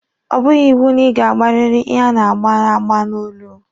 Ọ bụghị iwu na ị ga-agbariri ihe a na-agba agba n'olu.